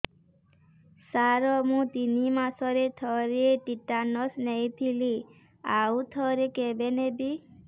ସାର ମୁଁ ତିନି ମାସରେ ଥରେ ଟିଟାନସ ନେଇଥିଲି ଆଉ ଥରେ କେବେ ନେବି